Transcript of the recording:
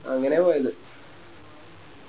അങ്ങനെയാ പോയത്